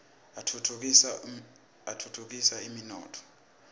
atfutfu kisa umnotfo